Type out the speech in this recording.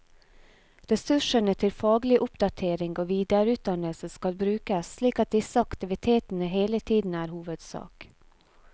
Ressursene til faglig oppdatering og videreutdannelse skal brukes slik at disse aktivitetene hele tiden er hovedsak.